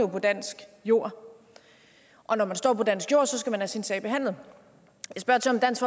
på dansk jord og når man står på dansk jord skal man have sin sag behandlet jeg spørger til om dansk